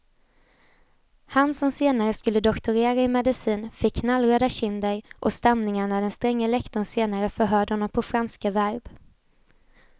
Han som senare skulle doktorera i medicin fick knallröda kinder och stamningar när den stränge lektorn senare förhörde honom på franska verb.